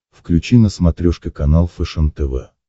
включи на смотрешке канал фэшен тв